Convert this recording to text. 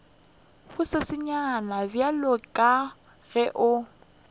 bosesenyane bjalo ka ge o